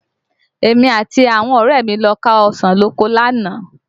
Èmi àti àwọn ọ̀rẹ́ ẹ mi lọ ká ọsàn lóko lánàá